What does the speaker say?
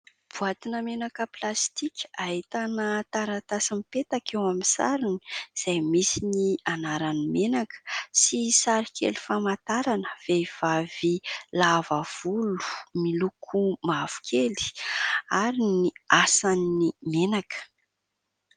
Boatina menaka plastika, ahitana taratasy mipetaka eo amin'ny sarony izay misy ny anaran'ny menaka sy sarikely famantarana vehivavy lava volo miloko mavokely ary ny asan'ny menaka.